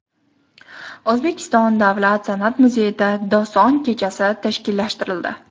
O‘zbekiston Davlat San’at muzeyida doston kechasi tashkillashtirildi.